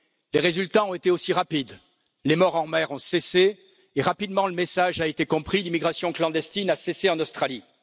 Les résultats ont été aussi rapides, les morts en mer ont cessé et, rapidement, le message a été compris. L'immigration clandestine a cessé en Australie.